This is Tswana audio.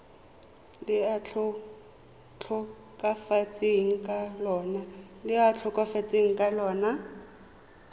le a tlhokafetseng ka lona